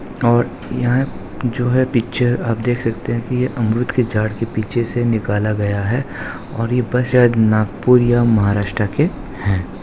और यहा है जो है पिक्चर आप देख सकते है की अमरुद के झाड के पीछे से निकाला गया है और ये बस शायद नागपुर या महाराष्ट्रा के है।